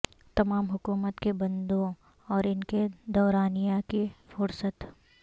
تمام حکومت کے بندوں اور ان کے دورانیہ کی فہرست